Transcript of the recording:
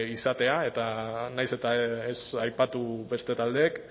izatea eta nahiz eta ez aipatu beste taldeek